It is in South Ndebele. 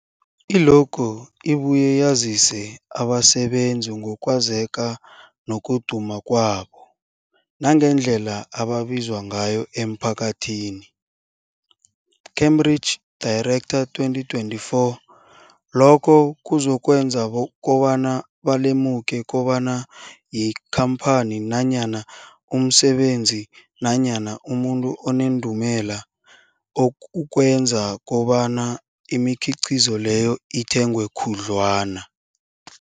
I-logo ibuye yazise abasebenzisi ngokwazeka nokuduma kwabo nangendlela abaziwa ngayo emphakathini, Cambridge Director, 2024. Lokho kuzokwenza kobana balemuke kobana yikhamphani nanyana umsebenzi nanyana umuntu onendumela, okuzokwenza kobana imikhiqhizo leyo ithengwe khudlwana.